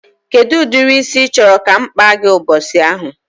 Kedụ ụdịrị isi ị chọrọ ka m kpaa gị ụbọchị ahụ?